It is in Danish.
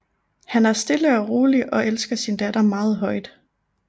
Han er stille og rolig og elsker sin datter meget højt